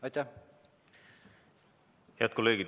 Head kolleegid!